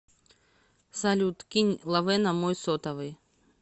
салют кинь лавэ на мой сотовый